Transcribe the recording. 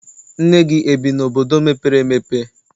Nne gị ebi n'obodo mepere emepe?